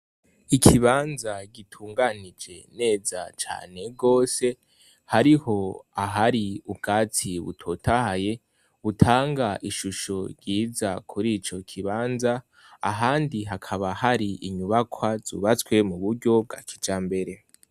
Ikibanza gitunganije neza cane gose hariho, ahari ubwatsi butotahaye butanga ishusho ryiza kuri ico ikibanza, ahandi hakaba hari inyubakwa zubatwe muburyo bwa kijambere.